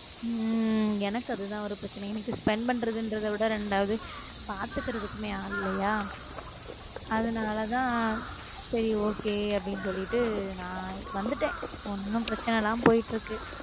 உம் உம் எனக்கு அதுதான் ஒரு பிரச்சின இன்னைக்கு spend பண்றத விட ரெண்டாது பாத்துக்கறதுமே ஆள் இல்லையா அதுனாலதான் சரி okay அப்டினு சொல்லிட்டு நான் வந்துட்டு ஒன்னும் பிரச்சனலாம் போயிட்டு இருக்கு